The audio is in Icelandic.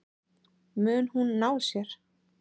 Mun hún ná sér?